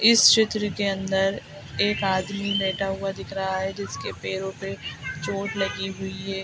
इस चित्र के अंदर एक आदमी बैठा हुआ दिख रहा है जिसके पैरों पे चोट लगी हुई हे ।